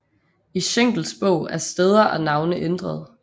I Schenkels bog er steder og navne ændret